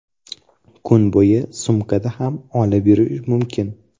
Kun bo‘yi sumkada ham olib yurish mumkin.